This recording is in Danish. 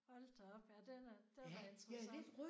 Hold da op! Ja den er det er da interessant